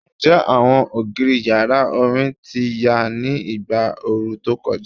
Njẹ awọn ogiri yara orin ti ya ni igba ooru to kọja?